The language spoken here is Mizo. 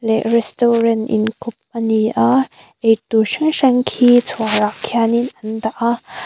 leh restaurant inkhawp ani a eitur hrang hrang khi chhuarah khianin an dah a.